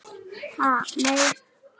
Ha nei.